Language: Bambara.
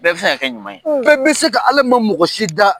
Bɛɛ bɛ se ka kɛ ɲuman ye, bɛ se ka, Ale man mɔgɔ si da